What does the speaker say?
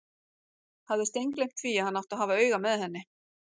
Hafði steingleymt því að hann átti að hafa auga með henni!